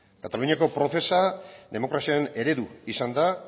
kataluniako procesa demokraziaren eredu izan da